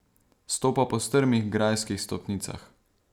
Stopa po strmih grajskih stopnicah.